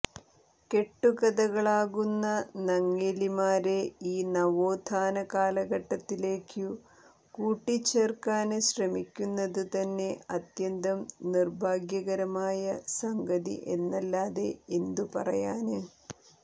കെട്ടുകഥകളാകുന്ന നങ്ങേലിമാരെ ഈ നവോത്ഥാന കാലഘട്ടത്തിലേക്കു കൂട്ടിച്ചേര്ക്കാന് ശ്രമിക്കുന്നത് തന്നെ അത്യന്തം നിര്ഭാഗ്യകരമായ സംഗതി എന്നല്ലാതെ എന്തുപറയാന്